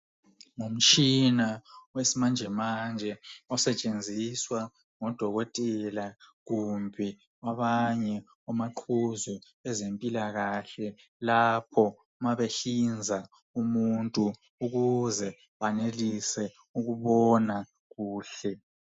Ngumtshina wesimanje manje osetshenziswa ngodokotela kumbe abanye omaqhuzu bezempilakahle lapho mabehlinza umuntu ukuze banelise ukubona kuhle.